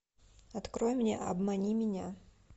открой мне обмани меня